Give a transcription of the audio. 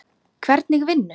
Hvernig vinnu?